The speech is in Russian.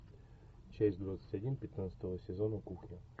часть двадцать один пятнадцатого сезона кухня